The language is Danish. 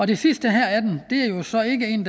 det sidste her af dem